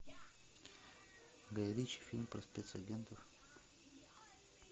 гай ричи фильм про спецагентов